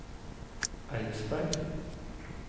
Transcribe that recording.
Eidsberg